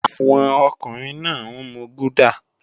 Àwọn ọkùnrin náà ń mu gúdà